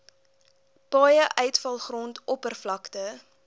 paaie uitvalgrond oppervlakte